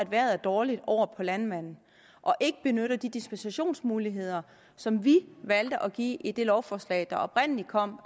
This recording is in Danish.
vejret er dårligt over på landmanden og ikke benytter de dispensationsmuligheder som vi valgte at give i det lovforslag der oprindelig kom